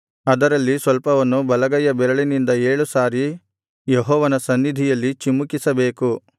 ಅದರಲ್ಲಿ ಸ್ವಲ್ಪವನ್ನು ಬಲಗೈಯ ಬೆರಳಿನಿಂದ ಏಳು ಸಾರಿ ಯೆಹೋವನ ಸನ್ನಿಧಿಯಲ್ಲಿ ಚಿಮುಕಿಸಬೇಕು